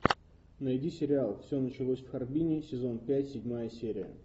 найди сериал все началось в харбине сезон пять седьмая серия